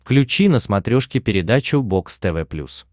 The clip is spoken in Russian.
включи на смотрешке передачу бокс тв плюс